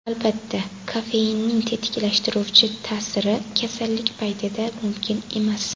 Albatta, kofeinning tetiklashtiruvchi ta’siri kasallik paytida mumkin emas.